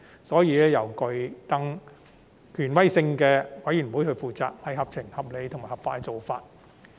所以，由更具權威性的資審會負責是合情、合理及合法的做法。